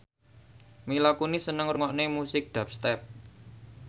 Mila Kunis seneng ngrungokne musik dubstep